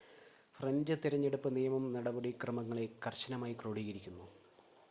French തിരഞ്ഞെടുപ്പ് നിയമം നടപടിക്രമങ്ങളെ കർശനമായി ക്രോഡീകരിക്കുന്നു